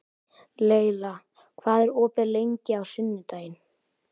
Leyla, hvað er opið lengi á sunnudaginn?